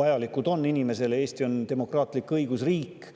vajalikud, sest Eesti on demokraatlik õigusriik.